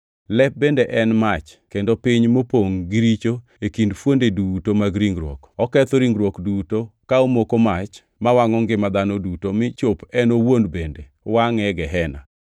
Lep bende en mach kendo piny mopongʼ gi richo e kind fuonde duto mag ringruok. Oketho ringruok duto ka omoko mach mawangʼo ngima dhano duto mi chop en owuon bende wangʼe e Gehena.